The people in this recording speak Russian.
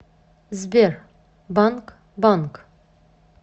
сбер банг банг